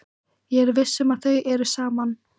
Ég er viss um að þau eru saman.